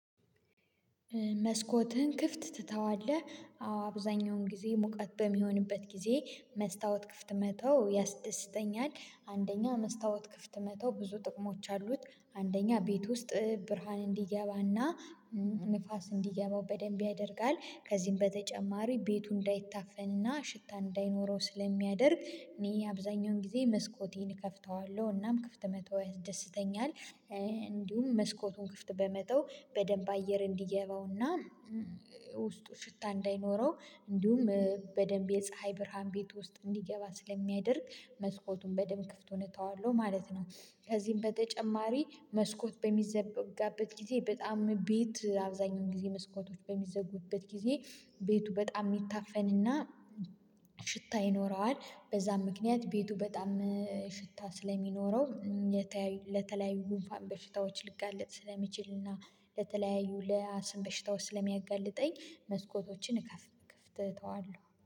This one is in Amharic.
መስኮትህን ክፍት ትተዋለህ አዎ አብዛኛውን ጊዜ ሙቀት በሚሆንበት ጊዜ መስታወት ክፍት መተው ያስደስተኛል። አንደኛ መስታወት ክፍት መተው ብዙ ጥቅሞች አሉት። አንደኛ ቤት ውስጥ እ ብርሃን እንዲገባና እም ንፋስ እንዲገባው በደንብ ያደርጋል ከዚህም በተጨማሪ ቤቱ እንዳይታፈንና ሽታ እንዳይኖረው ስለሚያደርግ እኔ አብዛኛውን ጊዜ መስኮቴን እከፍተዋለሁ እናም ክፍት መተው ያስደስተኛል። እ እንዲሁም መስኮቱን ክፍት በመተው በደንብ አየር እንዲገባውና ውስጡ ሽታ እንዳይኖረው እንዲሁም እ በደንብ የፀሀይ ብርሃን ቤት ውስጥ እንዲገባ ስለሚያደርግ መስኮቱን በደንብ ክፍቱን እተዋለሁ ማለት ነው። ከዚህም በተጨማሪ መስኮት በሚዘጋበት ጊዜ በጣም ቤት አብዛኛውን ጊዜ መስኮቶች በሚዘጉበት ጊዜ ቤቱ በጣም የሚታፈንና ሽታ ይኖረዋል። በዛም ምክንያት ቤቱ በጣም እ ሽታ ስለሚኖረው ለተለያዩ ጉንፋን በሽታዎች ልጋለጥ ስለሚችል እና ለተለያዩ ለአስም በሽታዎች ስለሚያጋልጠኝ። መስኮቶችን እከፍት ክፍት እተዋለሁ